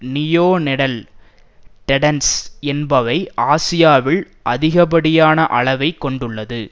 neonatal tetanus என்பவை ஆசியாவில் அதிகப்படியான அளவை கொண்டுள்ளது